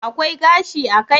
Akwai gashi a kai